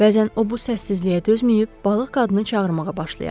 Bəzən o bu səssizliyə dözməyib balıq qadını çağırmağa başlayardı.